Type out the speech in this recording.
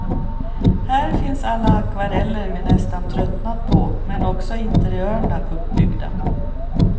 Här finns alla akvareller vi nästan tröttnat på, men också interiörna uppbyggda.